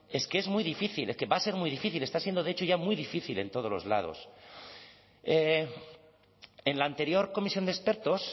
es que es muy difícil que va a ser muy difícil está siendo de hecho ya muy difícil en todos los lados en la anterior comisión de expertos